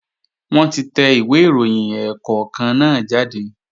Wọ́n ti tẹ ìwé ìròyìn ẹ̀ẹ̀kọ̀kan náà jáde